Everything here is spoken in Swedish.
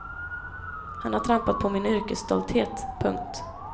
Han har trampat på min yrkesstolthet. punkt